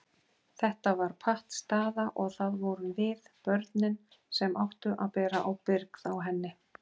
Þetta var pattstaða og það vorum við, börnin, sem áttum að bera ábyrgð á henni.